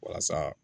Walasa